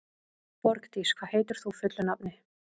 Borgdís, hvað heitir þú fullu nafni?